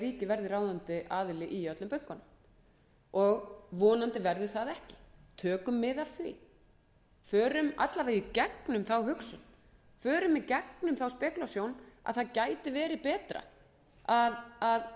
ríkið verði ráðandi aðili í öllum bönkunum vonandi verður það ekki tökum mið af því förum að minnsta kosti í gegnum þá hugsun að það gæti verið betra að gera þetta á einhvern annan hátt